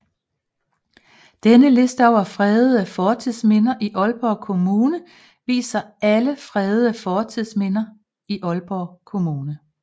Denne liste over fredede fortidsminder i Aalborg Kommune viser alle fredede fortidsminder i Aalborg Kommune